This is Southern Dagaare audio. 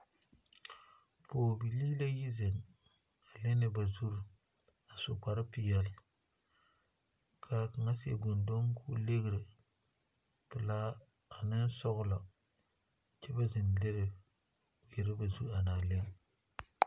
Pɔgebilii la yi zeŋ a lere ba zu a su kpare peɛle ka kaŋa seɛ gɔndo ka ligri pelaa ane sɔgla kyɛ ka ba zeŋ lere ba zu a lare.